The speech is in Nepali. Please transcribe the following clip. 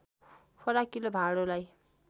फराकिलो भाँडोलाई